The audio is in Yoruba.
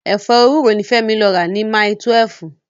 Ẹ̀fọ́ ewúro ni Fẹ́mi lọ rà lọ́jà Mile túwẹ̀f